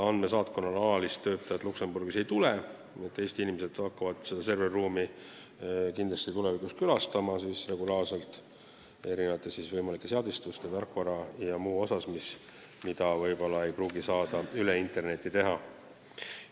Andmesaatkonnal alalist töötajat Luksemburgi ei tule, nii et Eesti inimesed hakkavad kindlasti selles serveriruumis tulevikus regulaarselt käima võimalike seadistuste, tarkvarauuenduste ja muude asjade jaoks, mida ei pruugi saada interneti kaudu teha.